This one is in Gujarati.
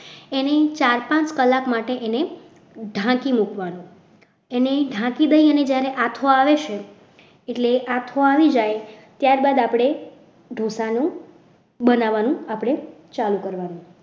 એને ચાર પાંચ કલાક માટે એને ઢાંકી મૂકવાનું એને ઢાંકી દઈએ અને જ્યારે આથો આવે છે એટલે આથો આવી જાય ત્યારબાદ આપણે ઢોસાનું બનાવવાનું આપણે ચાલુ કરવાનું.